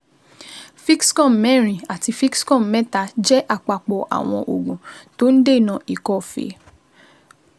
Fixcom mẹ́rin àti Fixcom mẹ́ta jẹ àpapọ̀ àwọn oògùn tó ń dènà ikọ́ fée